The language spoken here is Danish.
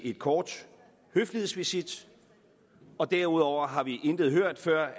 en kort høflighedsvisit og derudover har vi intet hørt før